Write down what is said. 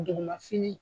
Duguma fini